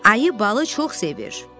Ayı balı çox sevir.